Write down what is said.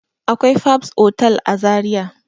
Akwai fabs otal a zaria